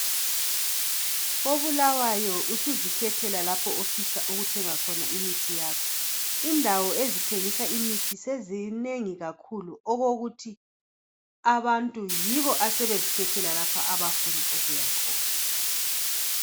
KoBulawayo usuzikhethela lapho ofisa ukuthenga khona imithi yakho. Indawo ezithengisa imithi sezinengi kakhulu okokuthi abantu yibo asebezikhethela lapha abafuna ukuya khona.